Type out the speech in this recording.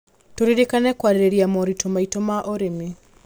Tũririkane kũarĩrĩria moritũ maitũ ma ũrĩmi.